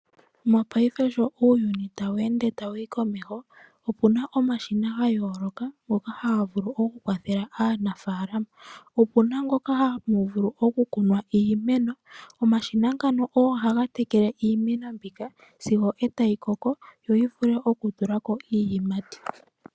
Mopaife sho uuyuni tawu ende tawu yi komeho opuna omashina ga yooloka ngono haga vulu okukwathela aanafaalama. Opuna ngoka haga vulu oku kuna iimeno . Omashina ngano ogo haga tekele iimeno mbika sigo tayi koko yo yivule oku tulako iiyimati.